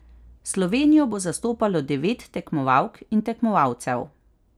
Slovenijo bo zastopalo devet tekmovalk in tekmovalcev.